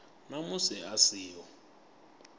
na musi a si ho